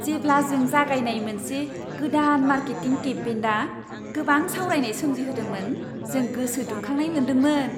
जेब्ला जों जागायनाय मोनसे गोदान मार्केटिं केम्पेइना गोबां सावरायनाय सोमजिहोदोंमोन जों गोसो दुंखांनाय मोनदोंमोन।